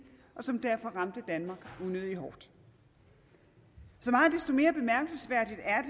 som derfor ramte danmark unødig hårdt så meget desto mere bemærkelsesværdigt er